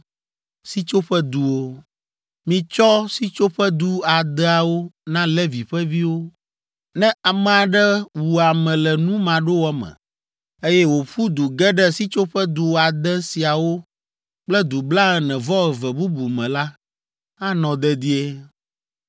“Mitsɔ Sitsoƒedu adeawo na Levi ƒe viwo. Ne ame aɖe wu ame le nu maɖowɔ me, eye wòƒu du ge ɖe Sitsoƒedu ade siawo kple du blaene-vɔ-eve bubu me la, anɔ dedie.